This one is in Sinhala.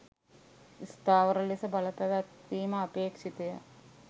ස්ථාවර ලෙස බලපැවැත්විම අපේක්ෂිතය